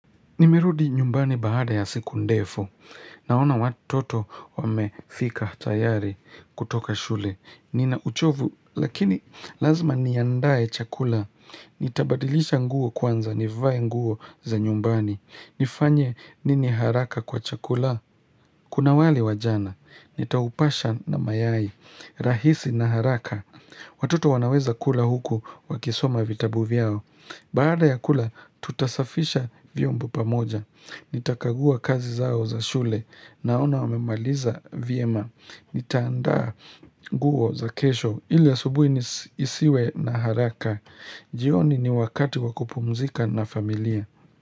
Nimerudi nyumbani baada ya siku ndefu. Naona watoto wamefika tayari kutoka shule. Nina uchovu lakini lazima niandae chakula. Nitabadilisha nguo kwanza, nivae nguo za nyumbani. Nifanye nini haraka kwa chakula. Kuna wali wajana. Nitaupasha na mayai. Rahisi na haraka. Watuto wanaweza kula huku wakisoma vitabu vyao. Baada ya kula, tutasafisha vyombo pamoja. Nitakagua kazi zao za shule naona wamemaliza vyema. Nitaandaa guo za kesho hili asubuhi nisiwe na haraka. Jioni ni wakati wa kupumzika na familia.